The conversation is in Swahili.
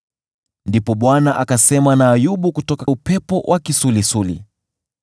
Ndipo Bwana akasema na Ayubu kutoka upepo wa kisulisuli: